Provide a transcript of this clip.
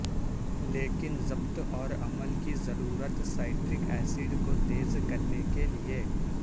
لیکن ضبط اور عمل کی ضرورت سائٹرک ایسڈ کو تیز کرنے کے لئے